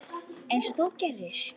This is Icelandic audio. Einsog þú gerir?